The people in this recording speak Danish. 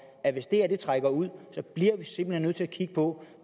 at hvis det her trækker ud så bliver vi simpelt hen nødt til at kigge på